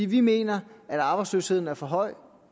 vi mener at arbejdsløsheden er for høj